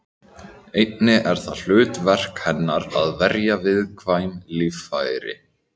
Einnig er það hlutverk hennar að verja viðkvæm líffæri.